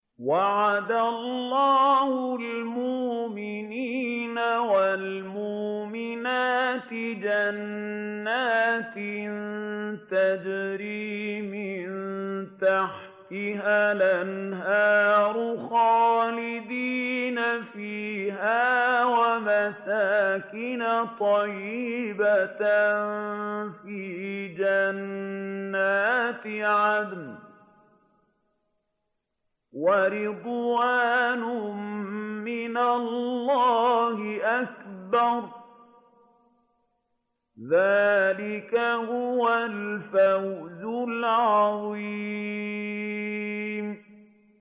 وَعَدَ اللَّهُ الْمُؤْمِنِينَ وَالْمُؤْمِنَاتِ جَنَّاتٍ تَجْرِي مِن تَحْتِهَا الْأَنْهَارُ خَالِدِينَ فِيهَا وَمَسَاكِنَ طَيِّبَةً فِي جَنَّاتِ عَدْنٍ ۚ وَرِضْوَانٌ مِّنَ اللَّهِ أَكْبَرُ ۚ ذَٰلِكَ هُوَ الْفَوْزُ الْعَظِيمُ